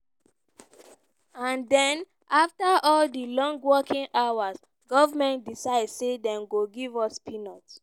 and den afta all di long working hours goment decide say dem go give us peanuts.